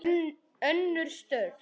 Önnur störf.